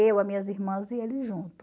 Eu, as minhas irmãs e ele junto.